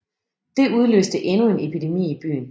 Det udløste endnu en epidemi i byen